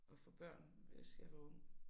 At få børn hvis jeg var ung